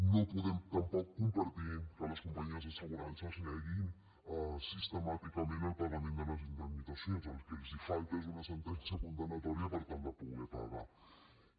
no podem tampoc compartir que les companyies d’assegurances neguin sistemàticament el pagament de les indemnitzacions el que els falta és una sentència condemnatòria per tal de poder pagar les